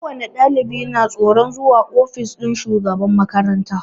Ko wani ɗalibi na tsoron zuwa ofis ɗin shugaban makaranta